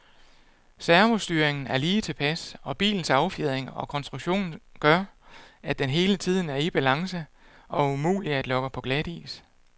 Servostyringen er lige tilpas, og bilens affjedring og konstruktion gør, at den hele tiden er i balance og umulig at lokke på glatis.